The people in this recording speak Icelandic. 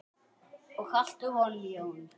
Og haltu honum Jón.